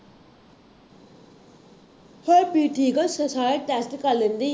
ਹਰਪ੍ਰੀਤ ਠੀਕ ਹੈ ਸਾ ਸਾਰਾ test ਕਰ ਲੈਂਦੀ।